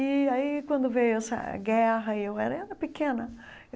E aí, quando veio essa guerra, eu era era pequena.